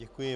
Děkuji.